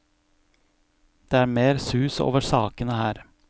Det er mer sus over sakene her.